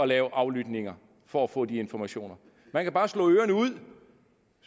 lave aflytninger for at få de informationer man kan bare slå ørerne ud